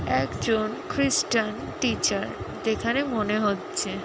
একজন খ্রীষ্টান টিচার যেখানে মনে হচ্ছে--